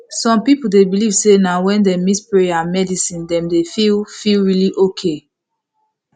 some people dey believe say na when dem mix prayer and medicine dem dey feel feel really okay